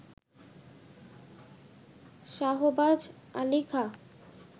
Shahbaz Ali Khan